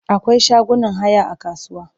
Akwai shagunan haya a kasuwa.